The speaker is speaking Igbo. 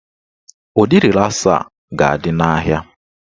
Ụdị rịlasa a ga-adị n'ahịa